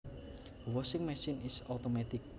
A washing machine is automatic